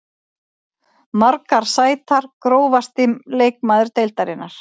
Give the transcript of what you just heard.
Margar sætar Grófasti leikmaður deildarinnar?